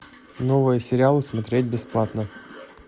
новые сериалы смотреть бесплатно